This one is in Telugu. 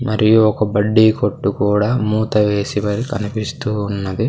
మరియు ఒక బడ్డీ కొట్టు కూడా మూత వేసిమరీ కనిపిస్తూ ఉన్నది.